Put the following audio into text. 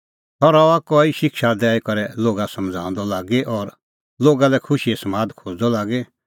सह रहअ कई शिक्षा दैई करै लोगा समझ़ाऊंदअ लागी और लोगा लै खुशीए समादा खोज़दअ लागी